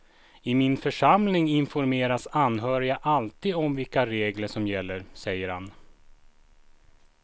I min församling informeras anhöriga alltid om vilka regler som gäller, säger han.